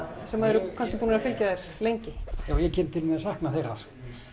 sem eru kannski búnir að fylgja þér lengi ég kem til með að sakna þeirra